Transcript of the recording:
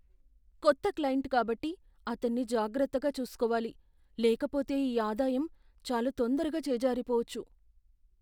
కొత్త క్లయింట్ కాబట్టి, అతన్ని జాగ్రత్తగా చూసుకోవాలి లేకపోతే ఈ ఆదాయం చాలా తొందరగా చేజారిపోవచ్చు.